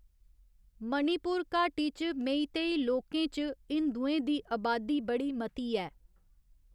मणिपुर घाटी च मेईतेई लोकें च हिंदुएं दी अबादी बड़ी मती ऐ।